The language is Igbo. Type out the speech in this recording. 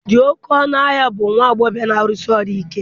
dị oké ọnụ ahịa bụ nwa agbọghọ na-arụsi ọrụ ike